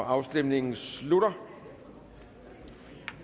afstemningen slutter for